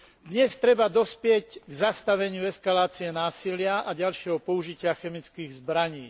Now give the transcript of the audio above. Dnes treba dospieť k zastaveniu eskalácie násilia a ďalšieho použitia chemických zbraní.